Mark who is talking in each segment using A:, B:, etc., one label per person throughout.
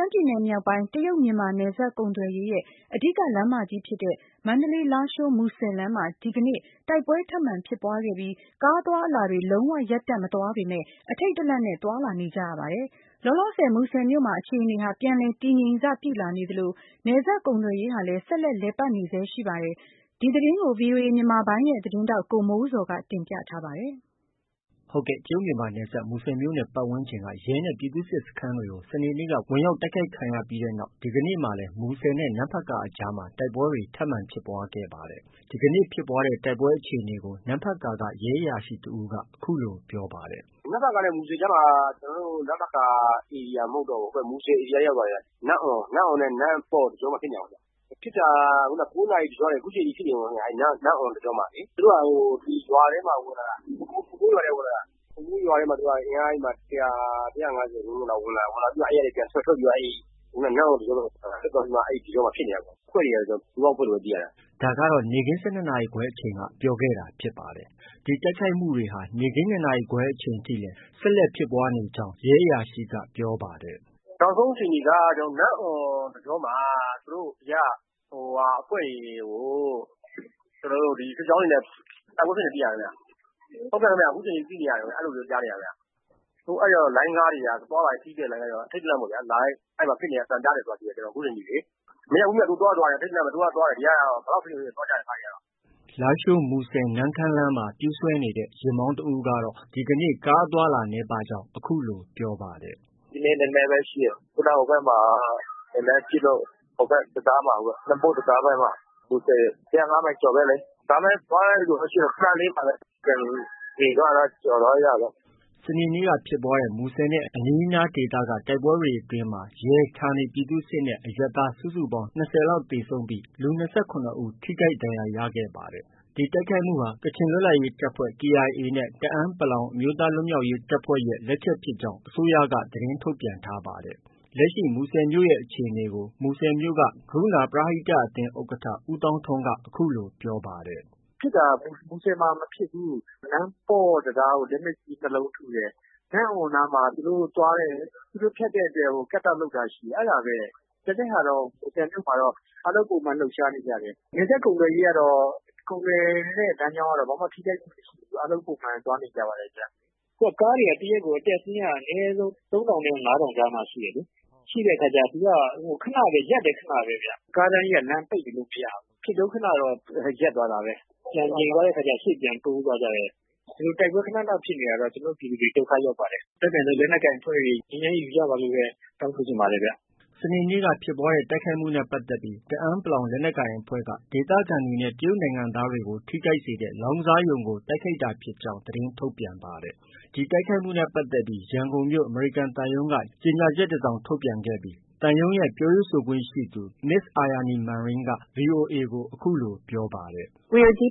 A: မ်းပြည်နယ်မြောက်ပိုင်း တရုတ်မြန်မာနယ်စပ်ကုန်သွယ်ရေးရဲ့ အဓိက လမ်းကြီးဖြစ်တဲ့ မန္တလေး -လားရှိုး- မူဆယ်လမ်းမှာ ဒီကနေ့ တိုက်ပွဲထပ်မံဖြစ်ပွားခဲ့ပြီး ကားအသွားအလာတွေ လုံးဝရပ်တန့်မသွားပေမဲ့ အထိတ်တလန့်နဲ့ သွားလာနေကြရပါတယ်။ လောလောဆည် မူဆယ်မြို့မှာ အခြေအနေဟာ ပြန်လည်တည်ငြိမ်စပြုလာနေသလို နယ်စပ်ကုန်သွယ်ရေးဟာလည်း ဆက်လက်လည်ပတ်နေဆဲရှိပါတယ်။ ဒီသတင်းကို ဗွီအိုအေမြန်မာပိုင်းရဲ့သတင်းထောက် ကိုမိုးဇော်က တင်ပြထားတယ်။ တရုတ်-မြန်မာနယ်စပ် မူဆယ်မြို့နဲ့ ပတ်ဝန်းကျင်က ရဲ၊ ပြည်သူ့စစ်စခန်းတွေကို စနေနေ့က ဝင်ရောက်တိုက်ခိုက်ခံရပြီးနောက် ဒီကနေ့မှာလည်း မူဆယ်နဲ့ နမ့်ဖတ်ကာအကြားမှာ တိုက်ပွဲတွေ ထပ်မံဖြစ်ပွားခဲ့ပါတယ်။ ဒီကနေဖြစ်ပွားတဲ့တိုက်ပွဲအခြေအနေကို နမ့်ဖတ်ကာက ရဲအရာရှိတဦးက အခုလို ပြောပါတယ်။ “ နမ့်ဖတ်ကာနဲ့ မူဆယ်အကြားမှာ ကျနော်တို့နမ့်ဖတ်ကာ ဧရိယာမဟုတ်တော့ဘူး။ ဟိုဖက် မူဆယ်ဧရိယာထဲမှာဗျ။ နမ့်အွန်နဲ့ နမ့်ပေါ့တကြောမှာ ဖြစ်နေတာခင်ဗျ။ ဖြစ်တာက ၉နာရီကနေ ခုချိန်ထိ ဖြစ်နေတုံးခင်ဗျ၊ နမ့်အွန်တကြောမှာ။ သူတို့က ဒီရွာထဲကို ဝင်လာတာ ဟိုမုန်းရွာထဲကို ဝင်လာတာ။ ဟိုမုန်းရွာထဲမှာ အင်အား ၁၀၀။ ၁၅၀လောက် ဝင်လာတာ။ ဝင်လာပြီးတော့ ပြန်ထွက် ထွက်ပြီးတော့ နမ့်အွန်တကြောဖက်ကို ထွက်သွားပြီးမှ အဲဒီတကြောမှာဖြစ်နေတာ။ အဖွဲ့တွေကတော့ ပူးပေါင်းအဖွဲ့လို့ပဲ သိရတယ်။ ” ဒါကတော့ နေ့ခင်း ၁၂နာရီခွဲအချိန်က ပြောခဲ့တာဖြစ်ပါတယ်။ ဒီတိုက်ခိုက်မှုတွေဟာ နေ့ခင်း ၂နာရီခွဲအချိန်ထိလည်း ဆက်လက်ဖြစ်ပွားနေတာဖြစ်ကြောင်း ရဲအရာရှိက ပြောပါတယ်။ “ နောက်ဆုံးအခြေအနေက နမ့်အွန်တကြောမှာ သူတို့ အဖွဲ့တွေကို ဒီစစ်ကြောင်းတွေနဲ့ ပိတ်မိနေတယ်သိရတယ်ခင်ဗျ။ အခုချိန်ထိဖြစ်နေတယ်လို့ ကြားနေရတယ်ခင်ဗျ။ အဲတော့ လိုင်းကားတွေက သွားလာနေတဲ့ ခရီးသည် လိုင်းကားတွေက အထိတ်တလန့်ပေါ့ဗျာ။ အဲဒီမှာ ဖြစ်နေတဲ့အသံကြားတယ်ဆိုတာ ခုချိန်ထိလေ။ မရပ်ဘူးဗျ၊ သွားတော့သွားတယ်။ ဘယ်လောက်ဖြစ်ဖြစ် သွားကြတယ် ကားတွေကတော့။ ” လားရှိုး- မူဆယ်- နမ့်ခမ်းလမ်းမှာ ပြေးဆွဲနေတဲ့ ယာဉ်မောင်းတဦးကတော့ ဒီကနေ့ ကားအသွားအလာ နည်းပါးကြောင်း အခုလို ပြောပါတယ်။ “ ဒီနေ့ နည်းနည်းပဲရှိတယ်။ခုနက ဟိုဖက်မှာ နည်းနည်းပစ်လို့။ ဟိုဖက် တံတားဖက်မှာ နမ့်အွန်တံတားဖက်မှာ။ မူဆယ် ၁၀၅မိုင်ကျော်ပဲလေ။ ဒါပေမဲ့ သွားတဲ့လူတော့ ရှိပါတယ်။ ခနလေးပါပဲ။ ပြန်ငြိမ်သွားရင်တော့ ကျော်သွားကြတာပေါ့။” စနေနေ့ကဖြစ်ပွားတဲ့ မူဆယ်မြို့နဲ့ အနီးအနားဒေသတိုက်ပွဲတွေအတွင်းမှာ ရဲ၊ ဌာနေပြည်သူ့စစ်နဲ့ အရပ်သားစုစုပေါင်း ၂၀လောက်သေဆုံးပြီး အထိအခိုက်များပြားခဲ့တဲ့ ဒီကနေ့အခြေအနေတွေ ပြန်လည် ငြိမ်သက်လာပေမယ့် လူ ၂၇ဦးထိခိုက်ဒဏ်ရာရခဲ့ပါတယ်။ ဒီတိုက်ခိုက်မှုဟာ ကချင်လွတ်လပ်ရေးအဖွဲ့KIA နဲ့ တအာင်း အမျိုးသားလွတ်မြောက်ရေးတပ်ဖွဲ့လက်ချက်ဖြစ်ကြောင်း အစိုးရက သတင်းထုတ်ပြန်ထားပါတယ်။ လက်ရှိ မူဆယ်မြို့ရဲ့အခြေအနေကို မူဆယ်မြို့က ကရုဏာပရဟိတအသင်း ဥက္ကဌ ဦးသောင်းထွန်းက အခုလို ပြောပါတယ်။ “ ဖြစ်တာတော့ မူဆယ်မှာ မဖြစ်ဘူး။ နမ့်ပေါ့တံတားကို လက်နက်ကြီး ၂လုံးထုတယ်။ နမ့်အွမ်နားမှာ သူတို့ဖြတ်တဲ့အတွက် cut-out လုပ်တာရှိတယ်။ အဲဒါပဲ။ ကျန်တဲ့ဟာတော့ မူဆယ်မြို့မှာတော့ အားလုံးပုံမှန်လှုပ်ရှားနေကြတယ်။ နယ်စပ်ကုန်သွယ်ရေးကတော့ ကုန်သယ်တဲ့လမ်းကြောင်းကတော့ ဘာမှ ထိခိုက်မှုမရှိဘူး။ အားလုံးပုံမှန် သွားနေကြပါတယ်ဗျ။ အခုက ကားတွေက တရက်ကို အနည်းဆုံး သုံးထောင်နဲ့ ငါးထောင်ကြားမှာရှိတယ်။ ရှိတဲ့အခါက သူက ရပ်လည်း ခနပဲဗျ။ ကားတန်းကြီးက လမ်း ပိတ်နေလို့ မရဘူး။ ဖြစ်တုံးခနတော့ ရပ်သွားတာပဲ။ ပြန်ငြိမ်သွားတဲ့အခါက ရှေ့ပြန်တိုးသွားတာပဲ။ ဒီလို တိုက်ပွဲခန ခန ဖြစ်နေတာတော့ ကျနော်တို့ ပြည်သူတွေ ဒုက္ခရောက်ပါတယ်။ အတတ်နိုင်ဆုံး လက်နက်ကိုင်အဖွဲ့တွေ ငြိမ်းချမ်းရေးယူကြပါလို့ပဲ တောင်းဆိုချင်ပါတယ်ခင်ဗျ။ ” စနေနေ့က ဖြစ်ပွားတဲ့ တိုက်ခိုက်မှုနဲ့ပတ်သက်ပြီး တအာင်း လက်နက်ကိုင်အဖွဲ့က ဒေသခံတွေနဲ့ တရုတ်နိုင်ငံသားတွေကို ထိခိုက်စေတဲ့ လောင်းကစားရုံကို တိုက်ခိုက်တာဖြစ်ကြောင်း သတင်းထုတ်ပြန်ပါတယ်။ ဒီတိုက်ခိုက်မှုနဲ့ပတ်သက်ပြီး ရန်ကုန်မြို့ရှိ အမေရိကန်သံရုံးက ကြေညာချက် ထုတ်ပြန်ခဲ့ပြီး သံရုံးရဲ့ ပြောရေးဆိုခွင့်ရှိသူ Ms Aryani Manringက VOA ကို အခုလို ပြောပါတယ်။ ရှမ်းပြည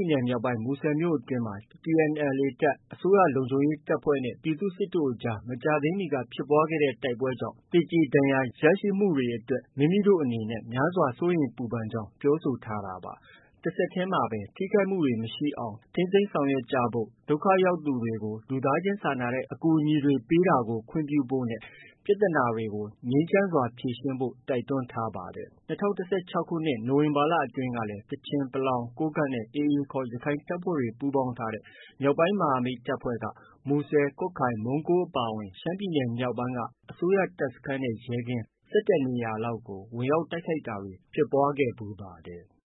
A: ်နယ်မြောက်ပိုင်း မူဆယ်မြို့နယ်အတွင်း TNLA တပ်၊ အစိုးရလုံခြုံရေးတပ်ဖွဲ့နဲ့ ပြည်သူ့စစ်တို့အကြား မကြာသေးမီက ဖြစ်ပွားခဲ့သော တိုက်ပွဲများကြောင့် သေကျေဒဏ်ရာရမှုများ ရှိခဲ့တဲ့အတွက် မိမိတို့အနေဖြင့် များစွာစိုးရိမ်ပူပန်ကြောင်းပြောဆိုထားပါတယ်။ တဆက်တည်းမှာ ထိခိုက်မှုမရှိအောင် ထိန်းသိမ်းဆောင်ရွက်ကြဖို့၊ ဒုက္ခရောက်ရသူတွေကို လူသားချင်းစာနာတဲ့ အကူအညီပေးတာတွေကို ခွင့်ပြုဖို့၊ ပြဿနာတွေကို ငြိမ်းချမ်းစွာဖြေရှင်းဖို့ တိုက်တွန်းထားပါတယ်။ ၂၀၁၆ခုနှစ် နိုဝင်ဘာလအတွင်းကလည်း ကချင်၊ ပလောင်၊ ကိုးကန့်နဲ့ AAခေါ် ရခိုင်တပ်ဖွဲ့တွေပူးပေါင်းထားတဲ့ မြောက်ပိုင်းမဟာမိတ်တပ်ဖွဲ့က မူဆယ်၊ ကွတ်ခိုင်၊ မုန်းကိုးအပါအဝင် ရှမ်းပြည်နယ်မြောက်ပိုင်းက အစိုးရ တပ်စခန်းနဲ့ ရဲကင်း ၁၁နေရာလောက်ကို ဝင်ရောက်တိုက်ခိုက်တာတွေ ဖြစ်ပွားခဲ့ပါတယ်။